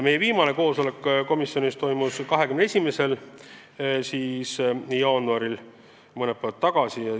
Meie viimane koosolek toimus 21. jaanuaril, mõni päev tagasi.